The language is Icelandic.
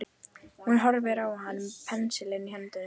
Hún horfði á hann með pensilinn í höndunum.